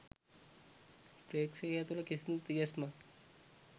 ප්‍රේක්ෂකයා තුළ කිසිදු තිගැස්මක්